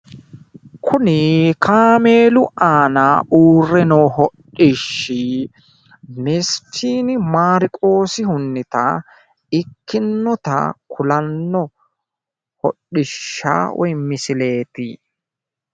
Kuni kaameelu aana uurre noo hodhishsi mesfiini maariqoosihunniha ikkasi kulanno hodhishsha woyi misileeti.